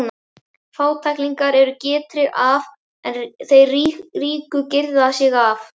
Fátæklingarnir eru girtir af en þeir ríku girða sig af.